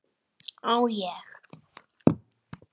Á ég.?